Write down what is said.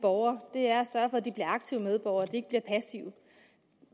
borgere er at sørge for at de bliver aktive medborgere at de ikke bliver passive